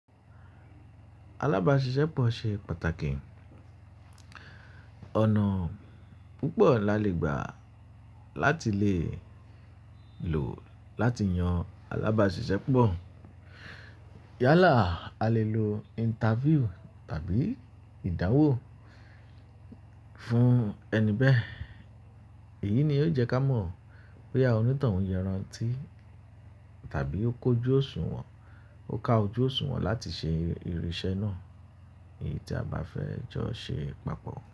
Alábàáṣiṣẹ́pọ̀ ṣe pàtàkì. Ọ̀nà púpọ̀ la lè gbà láti lè lò láti yan alábáṣiṣẹ́pọ̀. Yálà a lè lo interview tàbí ìdánwò fún ẹni bẹ́ẹ̀. Èyí ni ó jẹ́ ká mọ̀ pé bóyá onítàn yẹn rántí tàbí ó kójú òṣùwọ̀n, ó ká ojú òṣùwọ̀n láti ṣe irinṣẹ́ náà. Èyí tí a bá fẹ́ jọ ṣe papọ̀